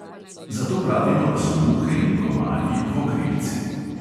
Zato pravimo, da so muhe in komarji dvokrilci.